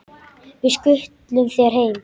Við skutlum þér heim!